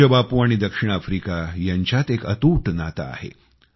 पूज्य बापू आणि दक्षिण आफ्रिका यांच्यात एक अतूट नातं आहे